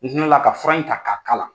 N la ka fura in ta ka k'a la.